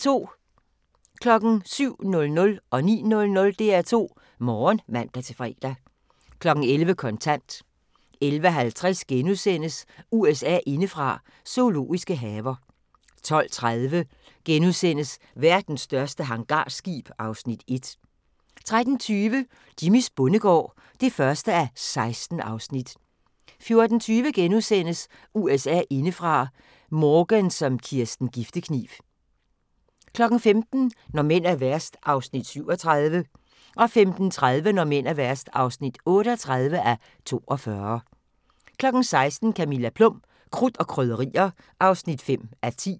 07:00: DR2 Morgen (man-fre) 09:00: DR2 Morgen (man-fre) 11:00: Kontant 11:50: USA indefra: Zoologiske haver * 12:30: Verdens største hangarskib (Afs. 1)* 13:20: Jimmys bondegård (1:16) 14:20: USA indefra: Morgan som Kirsten Giftekniv * 15:00: Når mænd er værst (37:42) 15:30: Når mænd er værst (38:42) 16:00: Camilla Plum – Krudt og Krydderier (5:10)